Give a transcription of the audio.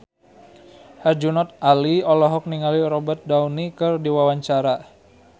Herjunot Ali olohok ningali Robert Downey keur diwawancara